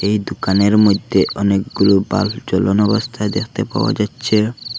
এই দোকানের মইধ্যে অনেকগুলো বাল্ব জ্বালানো অবস্থায় দেখতে পাওয়া যাচ্ছে।